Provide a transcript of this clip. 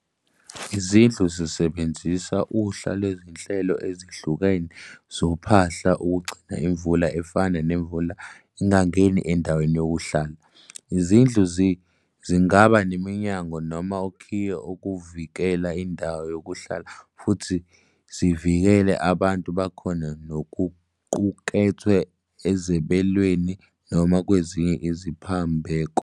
Izindlu zisebenzisa uhla lwezinhlelo ezihlukene zophahla ukugcina imvula efana nemvula ingangeni endaweni yokuhlala. Izindlu zingaba neminyango noma okhiye ukuvikela indawo yokuhlala futhi zivikele abantu bakhona nokuqukethwe ezebelweni noma kwezinye iziphambeko.